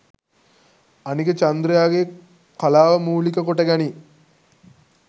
අනික චන්ද්‍රයාගේ කලාව මූලික කොට ගනී